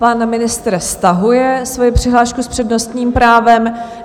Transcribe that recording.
Pan ministr stahuje svoji přihlášku s přednostním právem.